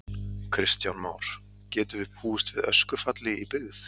Kristján Már: Getum við búist við öskufalli í byggð?